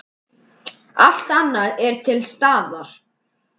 Allt annað er til staðar.